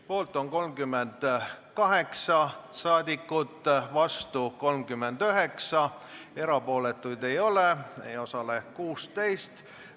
Poolt on 38 saadikut, vastu 39, erapooletuid ei ole, ei osalenud 16.